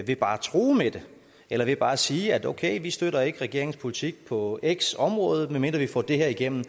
ved bare at true med det eller ved bare at sige okay vi støtter ikke regeringens politik på x område medmindre vi får det her igennem